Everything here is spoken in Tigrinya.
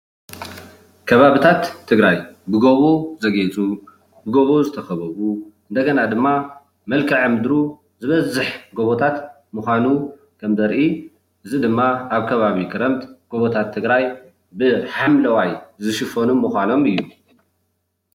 ከባቢታት ትግራይ ብጎቦ ዘግይፁ ብጎቦ ዝተከበቡ እንደገና ድማ መልክዐ ምድሩ ዝበዝሕ ጎቦታት ምካኑ ከም ዘርእ እዚ ድማ ኣብ ከባቢ ክረምቲ ጎቦታት ትግራይ ብሓምለዋይ ዝሽፈኑ ምኳኖም እዩ፡፡